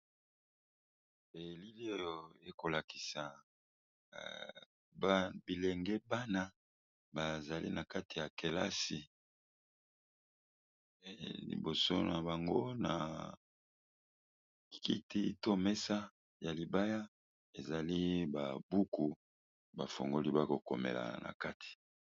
elili oyo ekolakisa bilenge bana bazali na kati ya kelasi liboso na bango na kiti to mesa ya libaya ezali babuku bafongoli bakokomela na kati